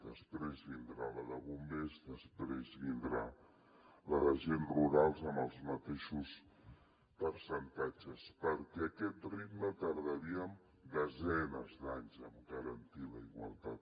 després vindrà la de bombers després vindrà la d’agents rurals amb els mateixos percentatges perquè a aquest ritme tardaríem desenes d’anys a garantir la igualtat